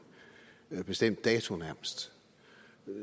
bestemt dato